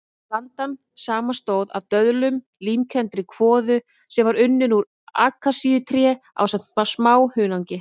Blandan samanstóð af döðlum, límkenndri kvoðu sem var unnin úr akasíutré ásamt smá hunangi.